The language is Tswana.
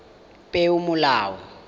peomolao